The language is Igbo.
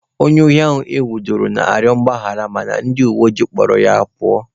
Onye ohi ahụ enwudere nọ na-arịọ mgbaghara mana ndị uweojii kpụrụ ya pụọ.